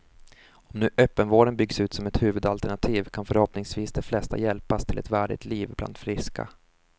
Om nu öppenvården byggs ut som ett huvudalternativ kan förhoppningsvis de flesta hjälpas till ett värdigt liv bland friska.